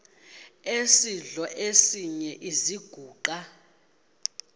esidl eziny iziguqa